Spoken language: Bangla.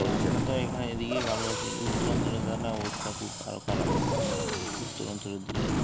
আমরা তো আমরা এইখানে এইদিকে ভালো আছি উত্তরঞ্চলে যান না অবস্থা খুব আরো খারাপ, উত্তরঞ্চলের দিকে